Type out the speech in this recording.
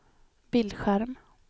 bildskärm